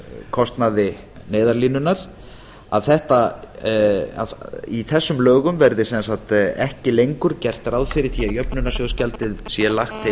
kostnaði neyðarlínunnar að í þessum lögum verði ekki lengur gert ráð fyrir því að jöfnunarsjóðsgjaldið sé lagt